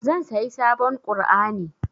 Zan sayi sabon ƙur'ani.